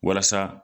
Walasa